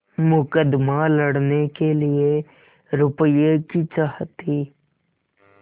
मुकदमा लड़ने के लिए रुपये की चाह थी